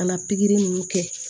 Ka na pikiri ninnu kɛ